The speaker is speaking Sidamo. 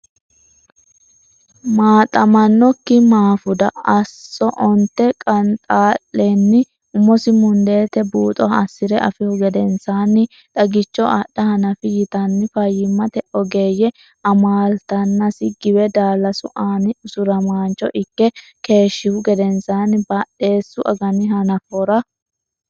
Maaxamannokki Maafuda Asso Onte Qanxaa le anni umosi mundeete buuxo assi re afihu gedensaanni Xagicho adha hanafi yitanni fayyimmate ogeeyye amaaltannasi giwe daallasu aani usuramaancho ikke keeshshihu gedensaanni Badheessu agani hanafora.